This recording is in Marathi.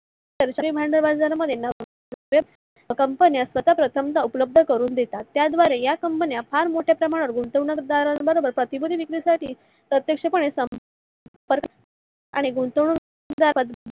तंत्र भांडवल बाजार मध्ये company सतत धंदा उपलब्ध करून देतात. त्या द्वारे या company फार मोठ्या प्रमाणा वर गुंतवणूक दराबरोबर खरेदी विक्री साठी प्रत्यक्ष पाने आणि गुंतवणूक दारास